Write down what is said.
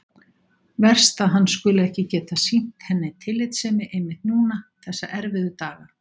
Verst að hann skuli ekki geta sýnt henni tillitssemi einmitt núna þessa erfiðu daga.